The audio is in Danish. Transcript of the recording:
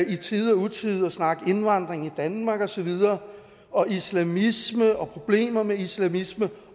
i tide og utide at snakke indvandring i danmark og så videre og islamisme og problemer med islamisme